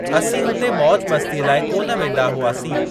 असीं हुते मौज मस्तीअ लाइ कोन वेंदा हुआसीं।